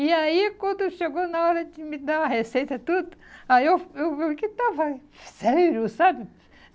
E aí, quando chegou na hora de me dar a receita e tudo, aí eu eu eu que estava sério, sabe?